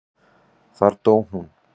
Þar dó hún.